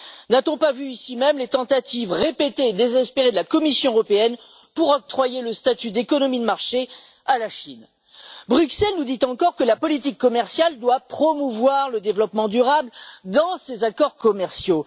N'a t on pas vu ici même les tentatives répétées et désespérées de la Commission européenne pour octroyer le statut d'économie de marché à la Chine? Bruxelles nous dit encore que la politique commerciale doit promouvoir le développement durable dans les accords commerciaux